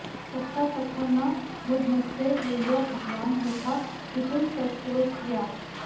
तपसा तथा न मुदमस्य ययौ भगवान् यथा विपुलसत्त्वतया